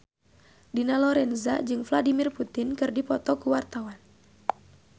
Dina Lorenza jeung Vladimir Putin keur dipoto ku wartawan